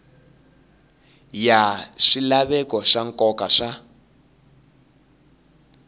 ya swilaveko swa nkoka swa